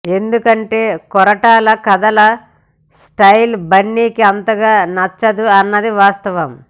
ఎందుకంటే కొరటాల కథల స్టయిల్ బన్నీకి అంతగా నచ్చదు అన్నది వాస్తవం